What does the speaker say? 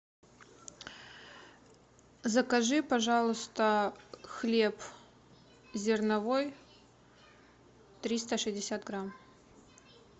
закажи пожалуйста хлеб зерновой триста шестьдесят грамм